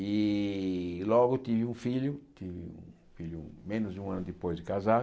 E logo tive um filho, com com menos de um ano depois de casar.